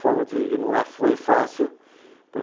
Não é, foi fácil. Uhum.